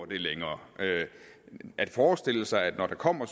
det længere at forestille sig at vi når der kommer